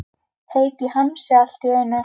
Heitt í hamsi allt í einu.